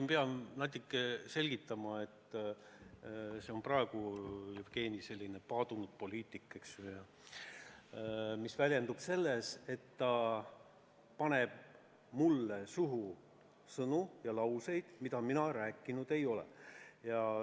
Ma pean nüüd natuke selgitama, et praegu Jevgeni, selline paadunud poliitik, eks ju, paneb mulle suhu sõnu ja lauseid, mida mina öelnud ei ole.